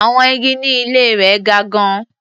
Àwọn igi ní ilé rẹ̀ ga gan-an.